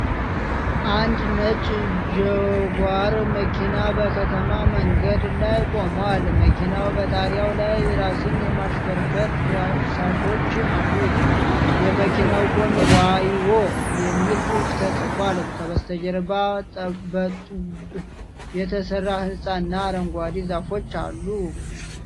አንድ ነጭ ጃጓር መኪና በከተማ መንገድ ላይ ቆሟል። መኪናው በጣሪያው ላይ ራስን የማሽከርከር ዳሳሾች አሉት። የመኪናው ጎን "ዋይዎ" የሚል ጽሑፍ ተጽፏል። ከበስተጀርባ በጡብ የተሠራ ሕንፃ እና አረንጓዴ ዛፎች አሉ።